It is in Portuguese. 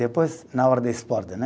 Depois, na hora do esporte, né?